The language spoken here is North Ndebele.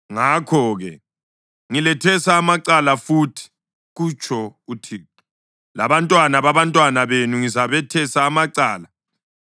Ngakho-ke ngilethesa amacala futhi,” kutsho uThixo. “Labantwana babantwana benu ngizabethesa amacala.